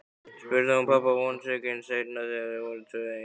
spurði hún pabba vonsvikin seinna þegar þau voru tvö ein.